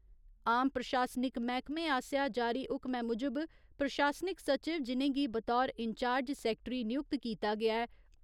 आम प्रशासनिक मैह्कमें आसेआ जारी हुक्मै मुजब, प्रशासनिक सचिव जि'नेंगी बतौर इन्चार्ज सैक्टरी नियुक्त कीता गेआ ऐ